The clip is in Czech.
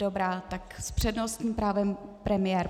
Dobrá, tak s přednostním právem premiér.